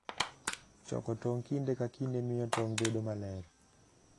Choko tong' kinde ka kinde miyo tong' bedo maler.